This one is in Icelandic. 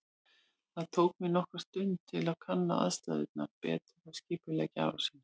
Það tók mig nokkra stund að kanna aðstæðurnar betur og skipuleggja árásina.